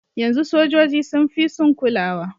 Yanzu sojoji sun fi sun kulawa.